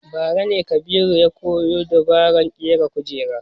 Bara ne Kabiru ya koyo sabon dabaran ƙera kujera